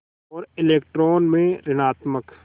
और इलेक्ट्रॉन में ॠणात्मक